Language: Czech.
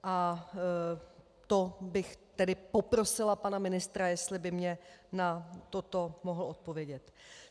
A to bych tedy poprosila pana ministra, jestli by mě na toto mohl odpovědět.